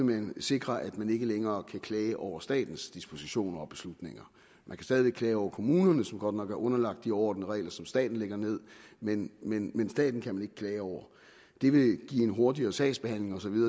vil sikre at man ikke længere kan klage over statens dispositioner og beslutninger man kan stadig væk klage over kommunerne som godt nok er underlagt den orden og de regler som staten lægger ned men men staten kan man ikke klage over det vil give en hurtigere sagsbehandling osv